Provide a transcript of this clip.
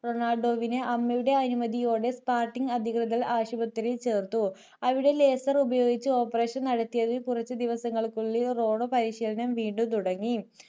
റൊണാൾഡോവിനു അമ്മയുടെ അനുമതിയോടെ spotting അധികൃതർ ആശുപത്രിയിൽ ചേർത്തു അവിടെ laser ഉപയോഗിച്ചു operation നടത്തി കുറച്ചു ദിവസങ്ങൾക്കുള്ളിൽ റോണോ പരിശീലനം വീണ്ടും തുടങ്ങി